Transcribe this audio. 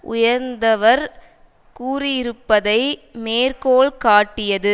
உயர்ந்தவர் கூறியிருப்பதை மேற்கோள் காட்டியது